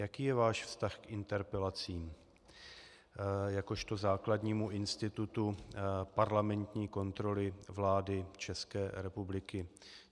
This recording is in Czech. Jaký je váš vztah k interpelacím jakožto základnímu institutu parlamentní kontroly vlády České republiky?